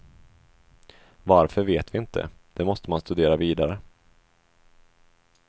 Varför vet vi inte, det måste man studera vidare.